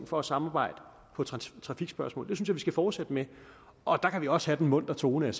for at samarbejde i trafikspørgsmål jeg vi skal fortsætte med og der kan vi også have den muntre tone